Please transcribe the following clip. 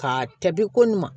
Ka tɛbi ko ɲuman